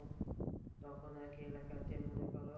তখন আর কি এলাকাতে মনে করো